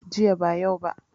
Jiya ba yau ba